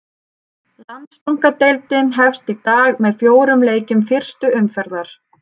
Landsbankadeildin hefst í dag með fjórum leikjum fyrstu umferðar.